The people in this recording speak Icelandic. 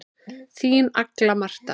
Þín Agla Marta.